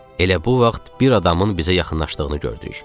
Elə bu vaxt bir adamın bizə yaxınlaşdığını gördük.